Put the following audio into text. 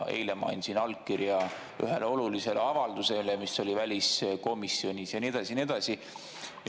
Eile ma andsin allkirja ühele olulisele avaldusele, mis oli väliskomisjonis, ja nii edasi ja nii edasi.